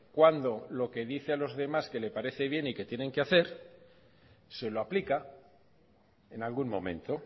cuándo lo que dice a los demás que le parece bien y que tienen que hacer se lo aplica en algún momento